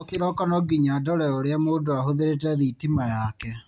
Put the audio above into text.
O kĩroko nonginya ndore ũrĩa mũndũ ahũthĩrĩte thitima yake.